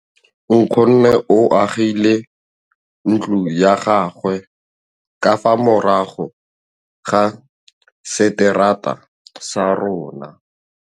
Nkgonne o agile ntlo ya gagwe ka fa morago ga seterata sa rona.